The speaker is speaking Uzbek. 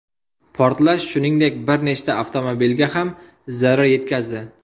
Portlash, shuningdek, bir nechta avtomobilga ham zarar yetkazdi.